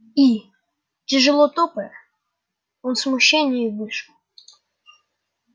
и тяжело топая он в смущении вышел